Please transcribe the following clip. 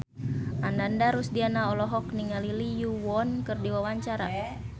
Ananda Rusdiana olohok ningali Lee Yo Won keur diwawancara